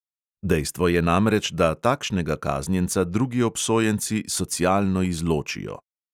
Dejstvo je namreč, da takšnega kaznjenca drugi obsojenci socialno izločijo.